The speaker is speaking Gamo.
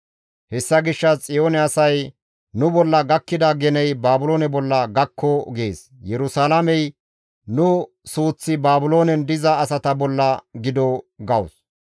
Hessa gishshas Xiyoone asay, «Nu bolla gakkida geney Baabiloone bolla gakko» gees; Yerusalaamey, «Nu suuththi Baabiloonen diza asata bolla gido» gawus.